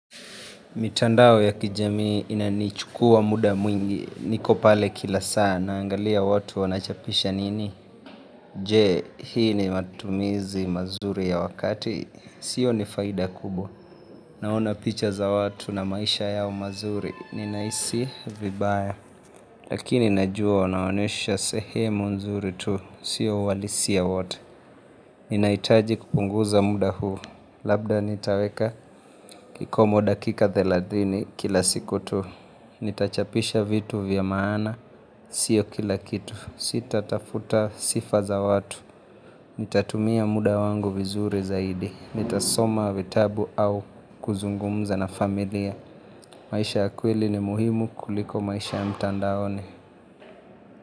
Mitandao ya kijamii inanichukua muda mwingi, nikopale kila sana, naangalia watu wanachapisha nini? Je, hii ni matumizi mazuri ya wakati, sioni faida kubwa. Naona picha za watu na maisha yao mazuri, ninahisi vibaya. Lakini najua, wanaonyesha sehemu nzuri tu, sio uhalisia wote. Ninahitaji kupunguza muda huu, labda nitaweka kikomo dakika thelathini kila siku tu. Nitachapisha vitu vya maana, sio kila kitu, sita tafuta sifa za watu, nitatumia muda wangu vizuri zaidi, nitasoma vitabu au kuzungumza na familia, maisha ya kweli ni muhimu kuliko maisha ya mtandaoni.